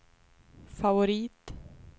favorit